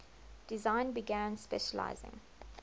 design began specializing